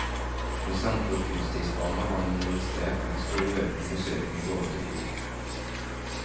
Ved samtlige kunstisbaner har man registrert en stor økning besøkende i forhold til i fjor.